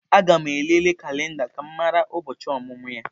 Aga m elele kalenda ka m mara ụbọchị ọmụmụ ya.